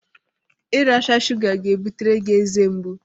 Iracha shụga ga-ebutere gị ezemgbu